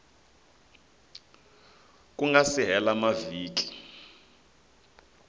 ku nga si hela mavhiki